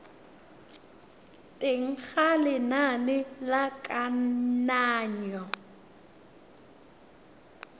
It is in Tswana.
teng ga lenane la kananyo